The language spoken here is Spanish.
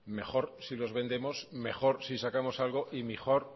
mejor si los vendemos mejor si sacamos algo y mejor